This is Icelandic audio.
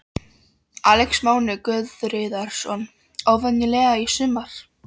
Alex Máni Guðríðarson: Óvenjulega í sumar?